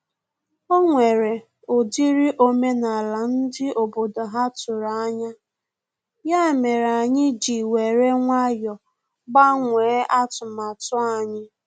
O nwere ọ dịrị omenala ndị obodo ha tụrụ anya, ya mere anyị ji were nwayọ gbanwee atụmatụ anyị